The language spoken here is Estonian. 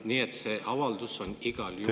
Nii et see avaldus on igal juhul …